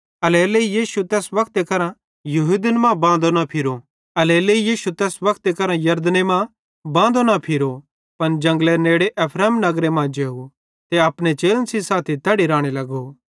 एल्हेरेलेइ यीशुए तैस वक्ते करां यहूदन मां बांदे मां न फिरो पन जंगलेरे नेड़े एफ्रैम नगरे मां जेव ते अपने चेलन सेइं साथी तैड़ी राने लगो